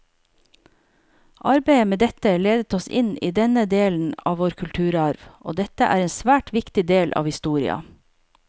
Arbeidet med dette ledet oss inn på denne delen av vår kulturarv, og dette er en svært viktig del av historia.